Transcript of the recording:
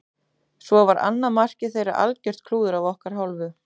Svo var annað markið þeirra algjört klúður af okkar hálfu.